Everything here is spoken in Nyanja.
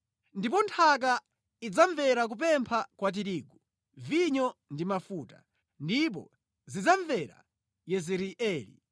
ndipo nthaka idzamvera kupempha kwa tirigu, vinyo ndi mafuta, ndipo zidzamvera Yezireeli.